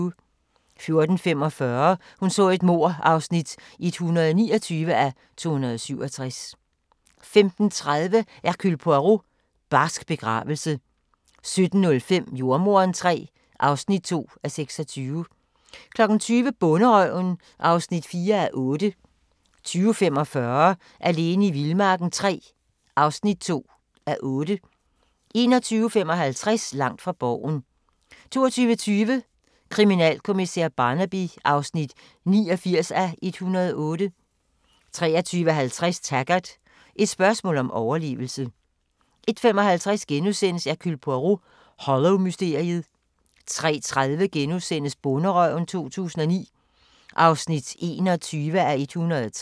14:45: Hun så et mord (129:267) 15:30: Hercule Poirot: Barsk begravelse 17:05: Jordemoderen III (2:26) 20:00: Bonderøven (4:8) 20:45: Alene i vildmarken III (2:8) 21:55: Langt fra Borgen 22:20: Kriminalkommissær Barnaby (89:108) 23:50: Taggart: Et spørgsmål om overlevelse 01:55: Hercule Poirot: Hollow-mysteriet * 03:30: Bonderøven 2009 (21:103)*